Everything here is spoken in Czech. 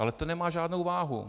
Ale ten nemá žádnou váhu!